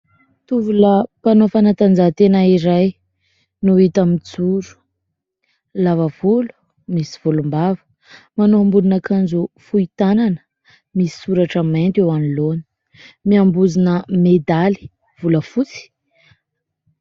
Tovolahy mpanao fanatanjahantena iray no hita mijoro, lava volo, misy volom-bava. Manao ambonin'akanjo fohy tanana, misy soratra mainty eo anoloana ; miambozona medaly volafotsy.